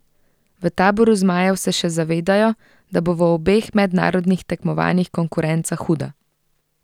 V taboru zmajev se še zavedajo, da bo v obeh mednarodnih tekmovanjih konkurenca huda.